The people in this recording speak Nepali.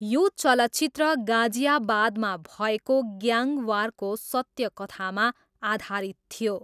यो चलचित्र गाजियाबादमा भएको ग्याङवारको सत्य कथामा आधारित थियो।